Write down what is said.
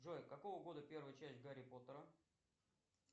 джой какого года первая часть гарри поттера